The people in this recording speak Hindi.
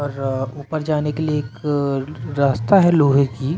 ऊपर जाने के लिए एक रास्ता है लोहे की--